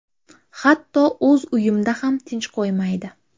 Hatto o‘z uyimda ham tinch qo‘yishmaydi.